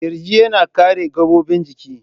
Kirji yana kare gabobin ciki.